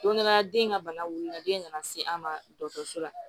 Don dɔ la den ka bana wuli la den nana se an ma dɔgɔtɔrɔso la